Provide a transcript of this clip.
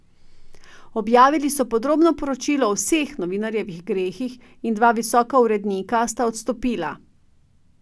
Objavili so podrobno poročilo o vseh novinarjevih grehih in dva visoka urednika sta odstopila.